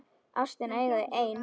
Ástina eiga þau ein.